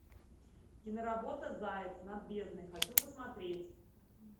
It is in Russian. киноработа заяц над бездной хочу посмотреть